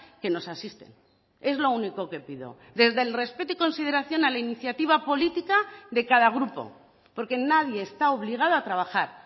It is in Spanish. que nos asisten es lo único que pido desde el respeto y consideración a la iniciativa política de cada grupo porque nadie está obligado a trabajar